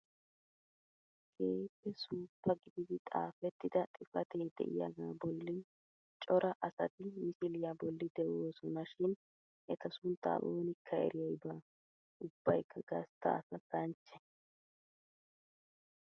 Keehippe suuppa gididi xaafettida xifatee de'iyaagaa bollan cora asati misiliyaa bolli de'oosona shin eta sunttaa oonikka eriyay baa! ubbaykka gastta asa kanchche!